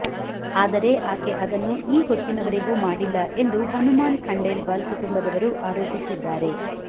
ಆದರೆ ಆಕೆ ಅದನ್ನು ಈ ಹೊತ್ತಿನ ವರೆಗೂ ಮಾಡಿಲ್ಲ ಎಂದು ಹುನುಮಾನ್ ಖಂಡೇಲ್ವಾಲ್ ಕುಟುಂಬದವರು ಆರೋಪಿಸಿದ್ದಾರೆ